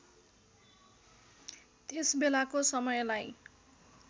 त्यस बेलाको समयलाई